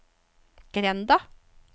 grenda